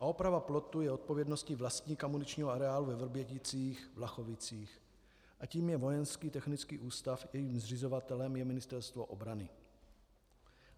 A oprava plotu je odpovědností vlastníka muničního areálu ve Vrběticích-Vlachovicích a tím je Vojenský technický ústav, jehož zřizovatelem je Ministerstvo obrany.